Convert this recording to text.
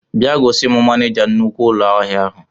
Bịa gosim manija nnukwu ụlọ ahịa ụnụ